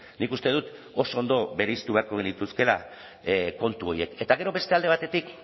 nik uste dut oso ondo bereiztu beharko genituzkeela kontu horiek eta gero beste alde batetik